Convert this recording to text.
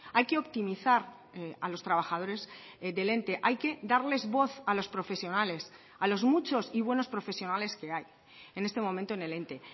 hay que optimizar a los trabajadores del ente hay que darles voz a los profesionales a los muchos y buenos profesionales que hay en este momento en el ente